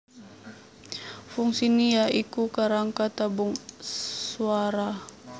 Fungsine ya iku kerangka tabung swara